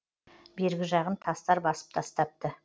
бергі жағын тастар басып тастапты